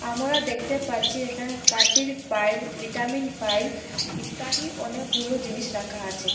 আমরা দেখতে পাচ্ছি এখানে কাশির ফাইল ভিটামিন ফাইল ইত্যাদি অনেকগুলো জিনিস রাখা আছে।